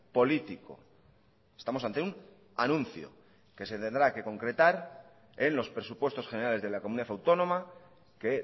político estamos ante un anuncio que se tendrá que concretar en los presupuestos generales de la comunidad autónoma que